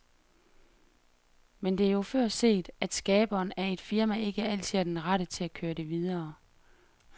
Men det er jo før set, at skaberen af et firma ikke altid er den rette til at køre det videre.